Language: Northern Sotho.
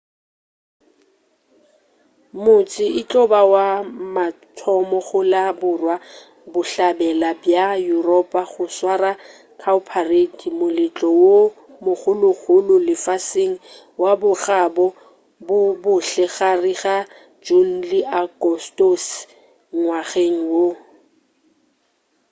motse e tlo ba wa mathomo go la borwa-bohlabela bja yuropa go swara cowparade moletlo wo mogologolo lefaseng wa bokgabo ba bohle gare ga june le agostose ngwageng wo